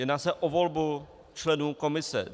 Jedná se o volbu členů komise.